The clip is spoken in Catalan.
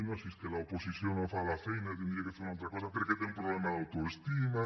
no si és que l’oposició no fa la feina hauria de fer una altra cosa perquè té un problema d’autoestima